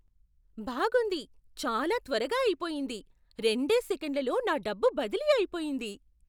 బాగుంది. చాలా త్వరగా అయిపొయింది. రెండే సెకన్లలో నా డబ్బు బదిలీ అయిపొయింది.